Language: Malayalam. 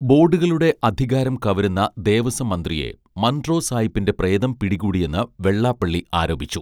ബോഡുകളുടെ അധികാരം കവരുന്ന ദേവസ്വം മന്ത്രിയെ മൺറോ സായ്പിന്റെ പ്രേതം പിടികൂടിയെന്ന് വെള്ളാപ്പള്ളി ആരോപിച്ചു